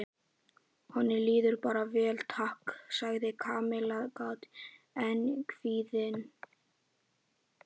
Honum líður bara vel, takk sagði Kamilla kát en kvíðin.